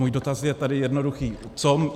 Můj dotaz je tedy jednoduchý: